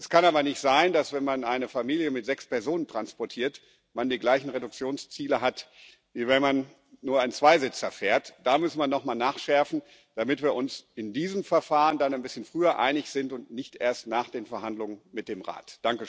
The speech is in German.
Es kann aber nicht sein, dass man, wenn man eine Familie mit sechs Personen transportiert, die gleichen Reduktionsziele hat, wie wenn man nur einen Zweisitzer fährt. Da muss man nochmal nachschärfen, damit wir uns in diesem Verfahren ein bisschen früher einig sind und nicht erst nach den Verhandlungen mit dem Rat.